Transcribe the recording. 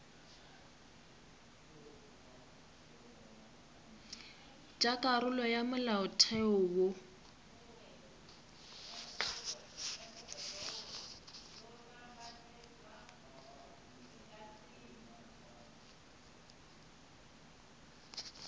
tša karolo ya molaotheo wo